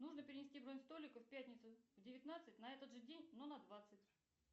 нужно перенести бронь столика в пятницу в девятнадцать на этот же день но на двадцать